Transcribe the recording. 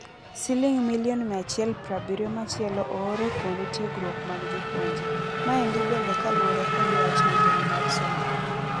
Siliong milion mia achiel prabirio machielo oor e kuende tiegrwok mag jopuonje. Maendi bende kaluore kod wach migao mar somo.